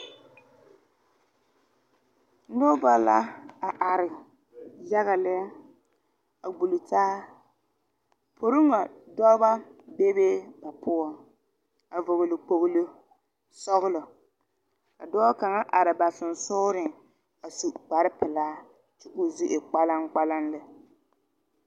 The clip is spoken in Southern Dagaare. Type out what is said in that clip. Nobɔ la a are yaga lɛ a gbul taa. Poreŋo dɔbɔ bebe ba poʊ a vogle kpolo sɔglɔ. Ka dɔɔ kanga are ba susugreŋ a su kparo pulaa kyɛ k' o zu e kpalaŋ kpalaŋ lɛ.